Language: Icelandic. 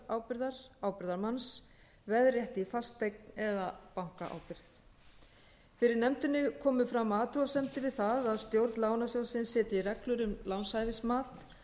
sjálfskuldarábyrgðar ábyrgðarmanns veðrétti í fasteign eða bankaábyrgð fyrir nefndinni komu fram athugasemdir við það að stjórn lánasjóðsins setji reglur um lánshæfismat